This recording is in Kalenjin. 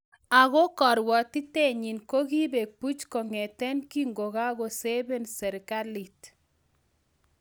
Ako karwatitenyin kokipeek buuch kong'eeteen kinkokakosebeen serikalit